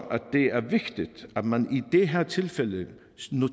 det er vigtigt at man i det her tilfælde